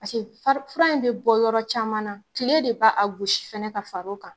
Paseke fura in bɛ bɔ yɔrɔ caman na, tile de b'a a gosi fana ka far' o kan !